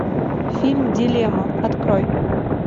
фильм дилемма открой